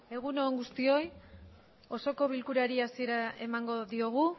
egun on guztioi osoko bilkurari hasiera emango diogu